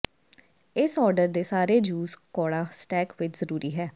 ਇਸ ਆਰਡਰ ਦੇ ਸਾਰੇ ਜੂਸ ਕੌੜਾ ਸਟੈਕ ਵਿੱਚ ਜ਼ਰੂਰੀ ਹੈ